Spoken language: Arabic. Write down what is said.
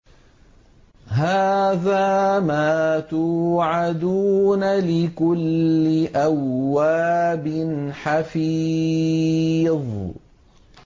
هَٰذَا مَا تُوعَدُونَ لِكُلِّ أَوَّابٍ حَفِيظٍ